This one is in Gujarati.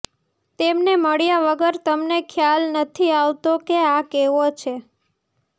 તેમને મળ્યા વગર તમને ખ્યાલ નથી આવતો કે આ કેવો છે